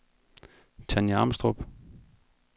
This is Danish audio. Tanya Amstrup